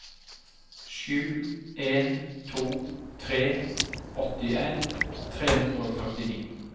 sju en to tre åttien tre hundre og førtini